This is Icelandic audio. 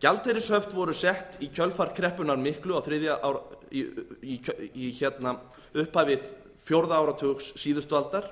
gjaldeyrishöft voru sett á í kjölfar kreppunnar miklu í upphafi fjórða áratugs síðustu aldar